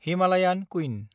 Himalayan queen